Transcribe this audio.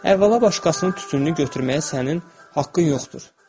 Əvvəla, başqasının tütününü götürməyə sənin haqqın yoxdur.